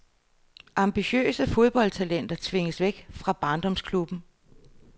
Ambitiøse fodboldtalenter tvinges væk fra barndomsklubben.